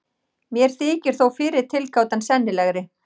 Mér þykir þó fyrri tilgátan sennilegri.